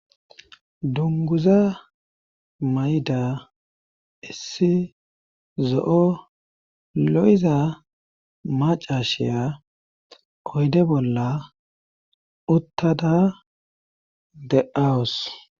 Dunguza mayda issi zo'o lo'iza macashiya oyde bolla uttada de awus.